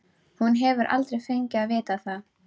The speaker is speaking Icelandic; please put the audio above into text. Hún hefur aldrei fengið að vita það.